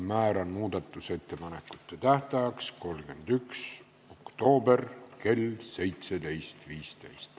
Määran muudatusettepanekute esitamise tähtajaks 31. oktoobri kell 17.15.